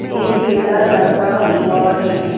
एक पेड़ा लगा हुआ है।